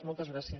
moltes gràcies